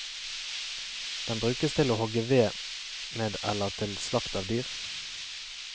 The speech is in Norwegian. Den brukes til å hogge ved med eller til slakt av dyr.